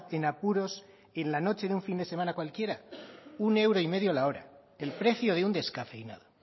en apuros en la noche de un fin de semana cualquiera un euro y medio la hora el precio de un descafeinado